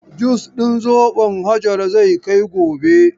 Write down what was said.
Jus din zobon Hajara zai kai gobe.